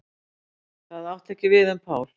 Það átti ekki við um Pál.